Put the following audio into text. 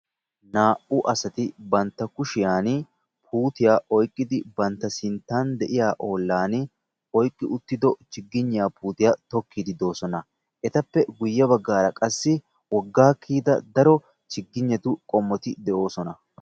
Naa"u asati bantta kushiyan puutiya oyqqidi bantta sinttan de"iya ollaani oykki uttido chigigniya puutiya tokkiiddi doosona. Etappe baggaara qassi woggaa kiyida daro chigignetu qommoti de'oosona.